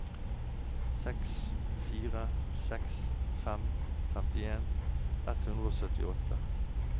seks fire seks fem femtien ett hundre og syttiåtte